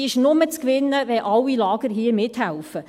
Diese ist nur zu gewinnen, wenn alle Lager hier mithelfen.